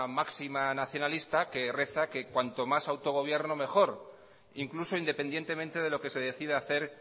máxima nacionalista que reza que cuanto más autogobierno mejor incluso independientemente de lo que se decida hacer